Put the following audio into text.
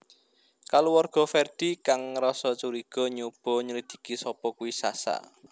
Kaluwarga Ferdi kang ngerasa curiga nyoba nyelidiki sapa kuwe Sasha